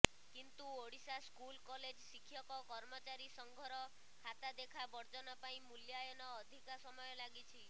କିନ୍ତୁ Odisha school college ଶିକ୍ଷକ କର୍ମଚାରୀ ସଂଘର ଖାତାଦେଖା ବର୍ଜନ ପାଇଁ ମୂଲ୍ୟାୟନ ଅଧିକ ସମୟ ଲାଗିଛି